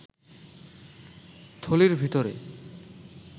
থলির ভিতরে